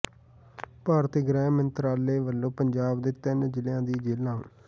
ਭਾਰਤੀ ਗ੍ਰਹਿ ਮੰਤਰਾਲੇ ਵਲੋਂ ਪੰਜਾਬ ਦੇ ਤਿੰਨ ਜ਼ਿਲ੍ਹਿਆਂ ਦੀਆਂ ਜੇਲਾਂ